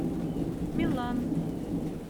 милан